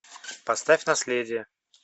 поставь наследие